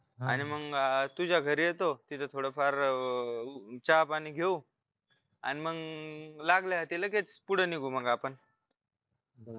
आणि मग तुझ्या घरी येतो तिथं थोडं फार चहा पाणी घेऊ आणि मग लागल्या हाथी लगेच पुढं निघू मग आपण